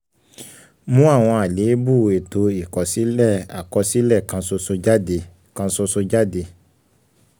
mú àwọn àléébù ètò ìkọsílẹ̀ àkọsílẹ̀ kan ṣoṣo jáde. kan ṣoṣo jáde.